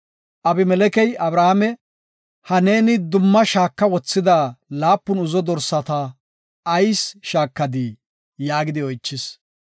Abimelekey Abrahaame, “Ha neeni dumma shaaka wothida laapun uzzo dorsata ayis shaakadii?” yaagidi oychis.